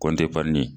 Kɔnti pali